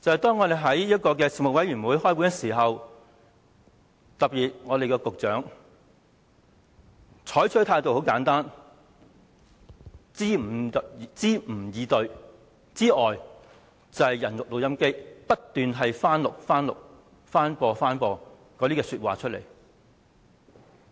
當我們舉行事務委員會會議時，當局特別是局長採取的態度，要不是支吾以對，便是當"人肉錄音機"，不斷重播同一番說話。